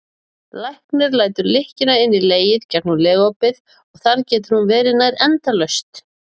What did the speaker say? Læknir lætur lykkjuna inn í legið gegnum legopið og þar getur hún verið nær endalaust.